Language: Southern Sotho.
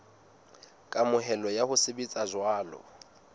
kamohelo ya ho sebetsa jwalo